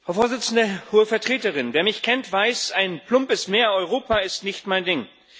Herr Präsident, Hohe Vertreterin! Wer mich kennt, der weiß Ein plumpes Mehr Europa ist nicht mein Ding.